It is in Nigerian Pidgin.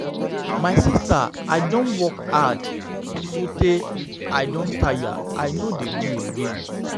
My sister I don work hard so tey I don tire and I no dey do again